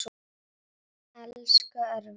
Elsku Örvar.